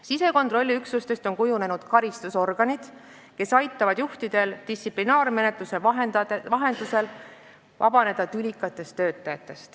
Sisekontrolliüksustest on kujunenud karistusorganid, mis aitavad juhtidel tülikatest töötajatest distsiplinaarmenetluse vahendusel vabaneda.